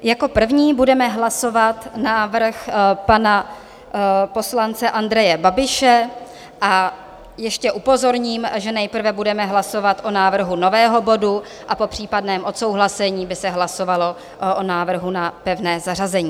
Jako první budeme hlasovat návrh pana poslance Andreje Babiše - a ještě upozorním, že nejprve budeme hlasovat o návrhu nového bodu a po případném odsouhlasení by se hlasovalo o návrhu na pevné zařazení.